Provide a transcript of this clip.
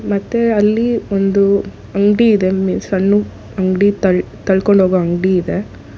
ಮತ್ತೆ ಅಲ್ಲಿ ಒಂದು ಅಂಗ್ಡಿ ಇದೆ ಸಣ್ಣು ಅಂಗ್ಡಿ ತ ತಳ್ಕೊಂಡ್ ಹೋಗೋ ಅಂಗಡಿ ಇದೆ.